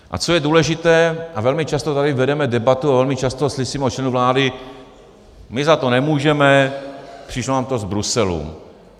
A co je důležité, a velmi často tady vedeme debatu a velmi často slyšíme od členů vlády: My za to nemůžeme, přišlo nám to z Bruselu.